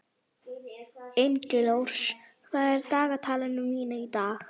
Engilrós, hvað er á dagatalinu mínu í dag?